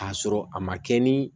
K'a sɔrɔ a ma kɛ ni